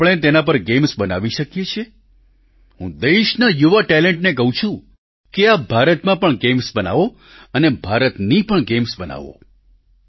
શું આપણે તેના પર ગેમ્સ બનાવી શકીએ છીએ હું દેશના યુવા ટેલેન્ટને કહું છું કે આપ ભારતમાં પણ ગેમ્સ બનાવો અને ભારતની પણ ગેમ્સ બનાવો